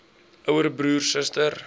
ouer broer suster